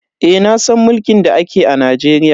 Eh nasan mulkin da ake a Najeriya.